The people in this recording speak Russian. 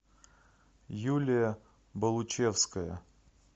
юлия болучевская